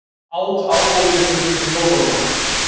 át ábótinn upp mjóróma.